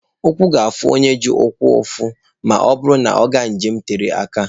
Ụkwụ ga-afụ onye ji ụkwụ ụfụ ma ọ bụrụ na ọ na-aga njem tere aka.